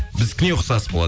біздікіне ұқсас болады